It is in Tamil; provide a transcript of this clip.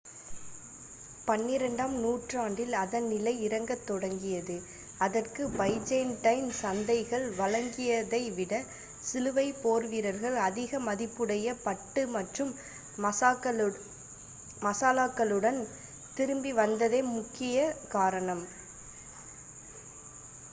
பனிரெண்டாம் நூற்றாண்டில் அதன் நிலை இறங்கத் தொடங்கியது அதற்கு பைஜேன்டைன் சந்தைகள் வழங்கியதைவிட சிலுவைப் போர்வீரர்கள் அதிக மதிப்புடைய பட்டு மற்றும் மசாலாக்களுடன் திரும்பி வந்ததே முக்கிய காரணம்